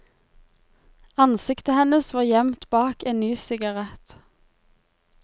Ansiktet hennes var gjemt bak en ny sigarett.